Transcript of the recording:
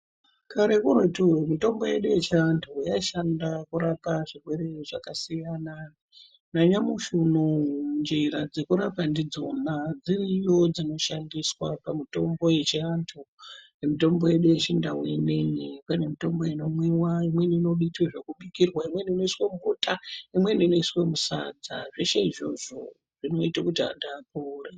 Kare kuretuyo mutombo yedu yechiantu yaishanda kurapa zvirwere zvakasiyana nanyamushi unowu njira dzekurapa ndidzona dziriyo dzinoshandiswa pamitombo yechiantu miombo yedu yechindau ineyi pane mitombo inomwiwa, imweni inoita zvekubikirwa, imweni inoiswa mubota imweni inoiswe musadza zveshe izvozvo zvinoite kuti antu apore.